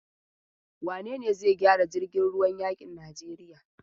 Wane ne zai gyara jirgin ruwan yakin Najeriya?